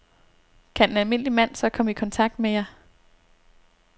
Kan en almindelig mand så komme i kontakt med jer?